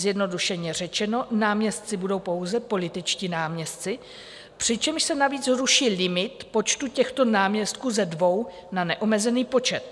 Zjednodušeně řečeno, náměstci budou pouze političtí náměstci, přičemž se navíc ruší limit počtu těchto náměstků ze dvou na neomezený počet.